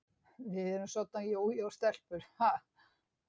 Við erum soddan jójó-stelpur, ha?